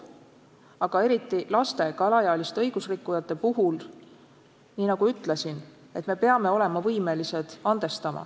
Aga laste ja ka vanemate alaealiste õigusrikkujate puhul, nagu ma juba ütlesin, me peame olema võimelised andestama.